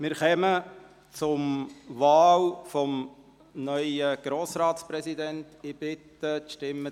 Wir kommen zur Wahl des neuen Grossratspräsidenten.